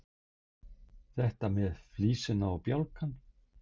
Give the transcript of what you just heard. Þetta með flísina og bjálkann.